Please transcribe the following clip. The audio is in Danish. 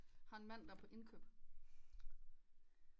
Har en mand der er på indkøb